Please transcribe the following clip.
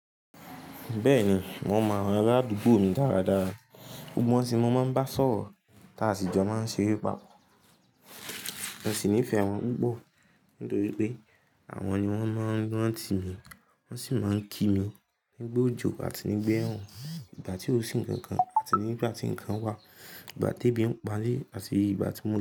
Bẹ́ẹ̀ni, mo mọ àwọn ará àdúgbò mi dára dára, gbogbo wọn sì ni mo máa ń bá sọ̀rọ̀ tí asì jọ máa ń ṣeré papọ̀. Mo sì nífẹ̀ẹ́ wọn púpọ̀ nítorí pé àwọn ni wọ́n máa ń rántí mi, wọ́n sì máa ń kí mi nígbà òjò àti nígbà ẹ̀rùn, ìgbà tí ò sí ǹkan kan àti ní ìgbà tí ǹkan wà, ìgbà tí ebi ń pamí àti ìgbà tí wọn.